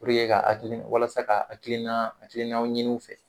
ka hakili ,walasa ka hakilina hakiliinaw ɲini u fɛ.